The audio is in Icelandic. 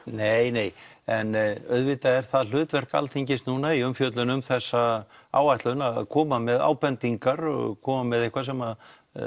nei nei en auðvitað er það hlutverk Alþingis núna í umfjöllun um þessa áætlun að koma með ábendingar og koma með eitthvað sem